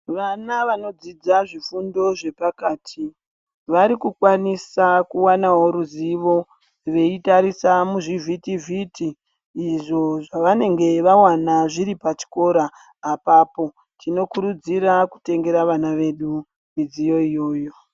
Vana vanodzidza zvifundo zvepakati vari kukwanisa kuwanawo ruzivo rwekutarisa muzvivhiti vhiti izvo zvavanenge vawana pona pachikora apapo. Tinokuridzira kutengera vana vedu midziyo iyoyo.